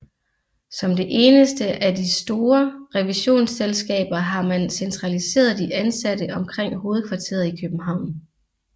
Som det enneste af de store revisionsselskaber har man centraliseret de ansatte omkring hovedkvarteret i København